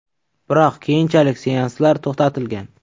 Biroq keyinchalik seanslar to‘xtatilgan.